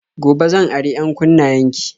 Gobe zan ari 'yankunnayen ki